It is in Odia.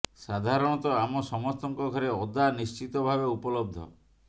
ସାଧାରଣତଃ ଆମ ସମସ୍ତଙ୍କ ଘରେ ଅଦା ନିଶ୍ଚିତ ଭାବେ ଉପଲବ୍ଧ